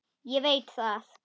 Ég veit það